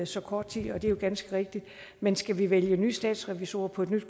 så kort tid og det er jo ganske rigtigt men skal vi vælge nye statsrevisorer på et nyt